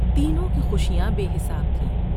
تینوں کی خوشیاں بے حساب تھیں ۔